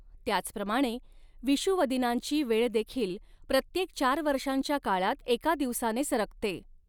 त्याचप्रमाणे, विषुवदिनांची वेळ देखील प्रत्येक चार वर्षांच्या काळात एका दिवसाने सरकते.